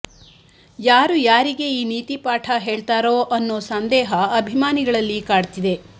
ಯಾರು ಯಾರಿಗೆ ಈ ನೀತಿಪಾಠ ಹೇಳ್ತಾರೋ ಅನ್ನೋ ಸಂದೇಹ ಅಭಿಮಾನಿಗಳಲ್ಲಿ ಕಾಡ್ತಿದೆ